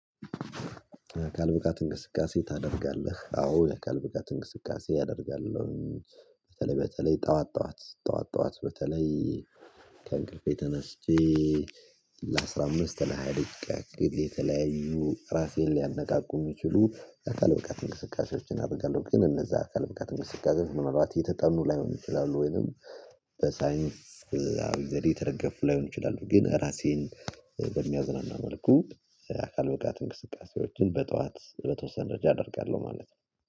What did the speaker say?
አካል ብቃት እንቅስቃሴ ታደርጋለህ አዎ የአካል ብቃት እንቅስቃሴ አደርጋለሁኝ። በተለይ በተለይ ጠዋት ጠዋት ጠዋት ጠዋት በተለይ ከእንቅልፌ ተነስቼ ለአሥራ አምስት ለሃያ ደቂቃ ያክል የተለያዩ ራሴን ሊያነቃቁ የሚችሉ አካል ብቃት እንቅስቃሴዎችን አደርጋለሁ። ግን እነዛ አካል ብቃት እንቅስቃሴ ምንአልባት የተጠኑ ላይሆን ይችላሉ ወይንም በሳይንስ አዊ ዘዴ የተደገፉ ላይሆን ይችላሉ። ግን ራሴን በሚያዝናና መልኩ አካል ብቃት እንቅስቃሴዎችን በጠዋት በተወሰነ ደረጃ አደርጋለሁ ማለት ነው